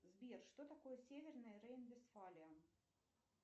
сбер что такое северное рейн вестфалия